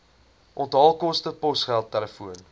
onthaalkoste posgeld telefoon